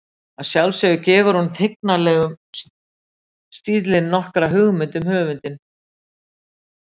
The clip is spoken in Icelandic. Að sjálfsögðu gefur hún og tignarlegur stíllinn nokkra hugmynd um höfundinn.